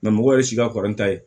mɔgɔ yɛrɛ si ka kɔrɔ n ta ye